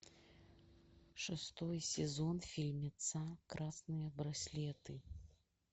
шестой сезон фильмеца красные браслеты